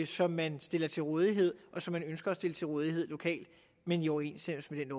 som man stiller til rådighed og som man ønsker at stille til rådighed lokalt men i overensstemmelse med